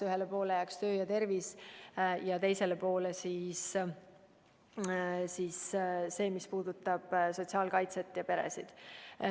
Ühele poole jääks töö ja tervis ja teisele poole kõik see, mis puudutab sotsiaalkaitset ja peresid.